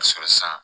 Sɔrɔ sisan